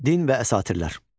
Din və əsatirlər.